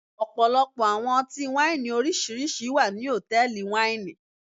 Ọpọlọpọ awọn ọti-waini oriṣiriṣi wa ni hotẹẹli waini